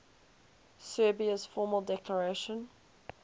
serbia's formal declaration